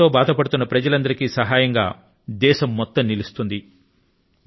ఈ విపత్తు తో బాధపడుతున్న ప్రజలందరికీ సహాయం గా యావత్తు దేశం నిలుస్తుంది